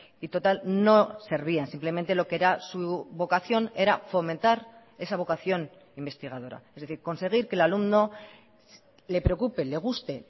y total no servían simplemente lo que era su vocación era fomentar esa vocación investigadora es decir conseguir que el alumno le preocupe le guste